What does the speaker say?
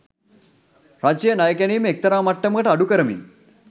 රජය ණය ගැනිම එක්තරා මට්ටමකට අඩු කරමින්